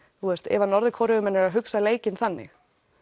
ef Norður Kóreumenn eru að hugsa leikinn þannig